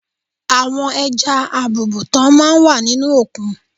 Àwọn ẹja àbùùùtán máa ń wà nínú òkun.